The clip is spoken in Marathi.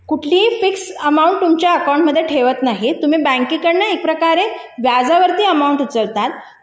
कुठलीही फिक्स अमाऊंट तुमच्या अकाउंट मध्ये ठेवत नाही तुम्ही बँकेकडून एक प्रकारे व्याजावरती अमाऊंट उचलली